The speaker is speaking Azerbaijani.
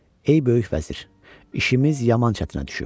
"Ey böyük vəzir, işimiz yaman çətinə düşüb.